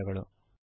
ಧನ್ಯವಾದಗಳು